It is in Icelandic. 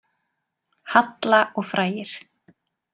Halla og frægir